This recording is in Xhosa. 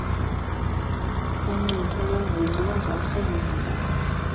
noncuthu lwesidlo sasemva